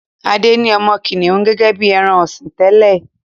Ade ní ọmọ kìnìún gẹ́gẹ́ bí ẹran-ọ̀sìn tẹ́lẹ̀.